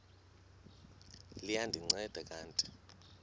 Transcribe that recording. liya ndinceda kanti